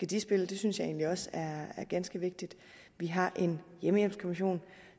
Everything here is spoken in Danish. de spille det synes jeg egentlig også er er ganske vigtigt vi har en hjemmehjælpskommission